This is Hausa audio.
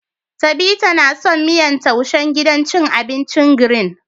Tabita ta na son miyan taishen gidan cin abincin "green "